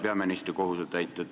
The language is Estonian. Härra peaministri kohusetäitja!